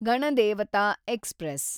Ganadevata express